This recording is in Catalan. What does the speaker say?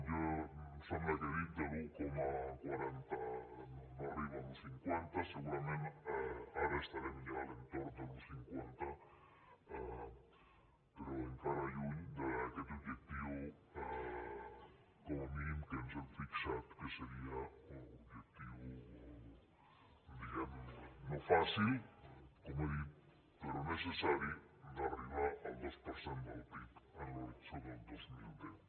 jo em sembla que he dit de l’un coma quaranta no arriba a l’un coma cinquanta segurament ara estarem ja a l’entorn de l’un coma cinquanta però encara lluny d’aquest objectiu com a mínim que ens hem fixat que seria un objectiu diguem ne no fàcil com he dit però necessari d’arribar al dos per cent del pib en l’horitzó del dos mil deu